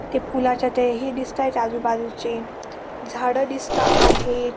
ते पुलाच्या ते हे दिसतायत आजूबाजूचे झाड दिसता आहेत.